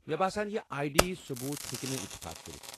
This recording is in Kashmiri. مےٚ باسان یہ آیہ ڈی ثبوت ہیكہِ نہٕ اتعفاق كرِتھ ۔